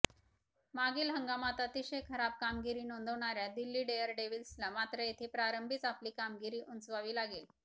मागील हंगामात अतिशय खराब कामगिरी नोंदवणाऱया दिल्ली डेअरडेव्हिल्सला मात्र येथे प्रारंभीच आपली कामगिरी उंचवावी लागेल